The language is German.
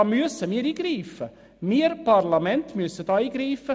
Da müssen wir als Parlament eingreifen.